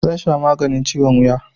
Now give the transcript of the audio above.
Zan sha maganin ciwon wuya